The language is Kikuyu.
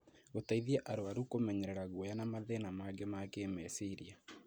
gũteithia arũaru kũmenyerera guoya na mathĩna mangĩ ma kĩĩmeciria.